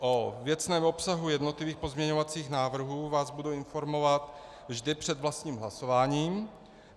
O věcném obsahu jednotlivých pozměňovacích návrhů vás budu informovat vždy před vlastním hlasování.